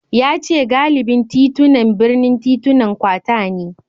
Ya ce galibin titunan birnin titunan kwata ne